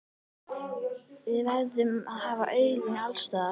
Við verðum að hafa augun alls staðar.